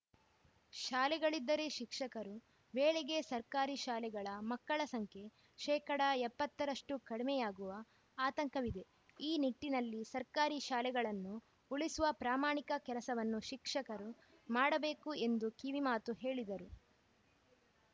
ಶಾಲೆಗಳಿದ್ದರೆ ಶಿಕ್ಷಕರು ವೇಳೆಗೆ ಸರ್ಕಾರಿ ಶಾಲೆಗಳ ಮಕ್ಕಳ ಸಂಖ್ಯೆ ಶೇಕಡಾ ಎಪ್ಪತ್ತ ರಷ್ಟುಕಡಿಮೆಯಾಗುವ ಆತಂಕವಿದೆ ಈ ನಿಟ್ಟಿನಲ್ಲಿ ಸರ್ಕಾರಿ ಶಾಲೆಗಳನ್ನು ಉಳಿಸುವ ಪ್ರಾಮಾಣಿಕ ಕೆಲಸವನ್ನು ಶಿಕ್ಷಕರು ಮಾಡಬೇಕು ಎಂದು ಕಿವಿಮಾತು ಹೇಳಿದರು